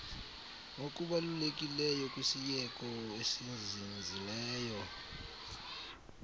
ngokubalulekileyo kwisieko esizinzileyo